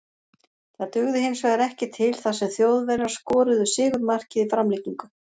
Það dugði hinsvegar ekki til þar sem Þjóðverjar skoruðu sigurmarkið í framlengingu.